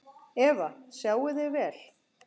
Eva: Sjáið þið vel?